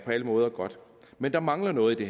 alle måder godt men der mangler noget i